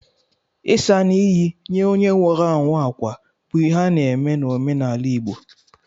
Ịsa na iyi ye onye nwụrụ anwụ akwa bụ ihe a na-eme n'omenala igbo.